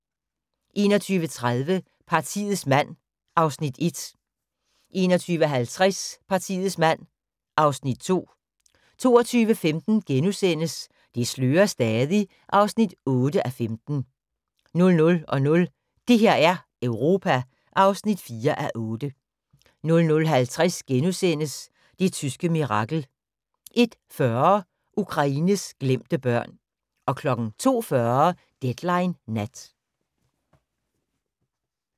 21:30: Partiets mand (Afs. 1) 21:50: Partiets mand (Afs. 2) 22:15: Det slører stadig (8:15)* 00:00: Det her er Europa (4:8) 00:50: Det tyske mirakel * 01:40: Ukraines glemte børn 02:40: Deadline Nat